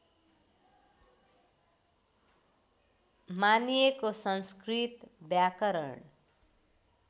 मानिएको संस्कृत व्याकरण